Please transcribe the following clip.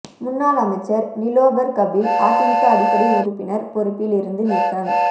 முன்னாள் அமைச்சர் நிலோபர் கபில் அதிமுக அடிப்படை உறுப்பினர் பொறுப்பில் இருந்து நீக்கம்